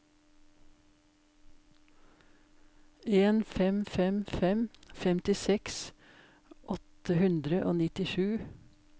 en fem fem fem femtiseks åtte hundre og nittisju